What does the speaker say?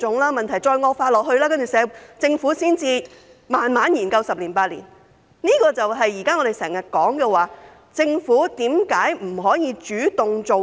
待問題繼續惡化，政府才慢慢研究十年、八年，這正是我們現在常說，政府為何不能主動做事。